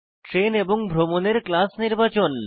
train এবং ভ্রমণের class নির্বাচন